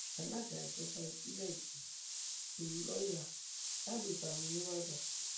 alága ìjọba ìbílẹ ido lu lọọyà lálùbami nìbàdàn